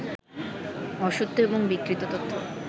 অসত্য এবং বিকৃত তথ্য